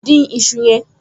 Dín iṣu yẹn!